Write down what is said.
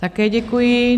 Také děkuji.